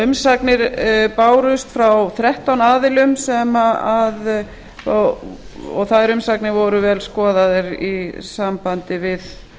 umsagnir bárust frá þrettán aðilum og þær umsagnir voru vel skoðaðar í sambandi við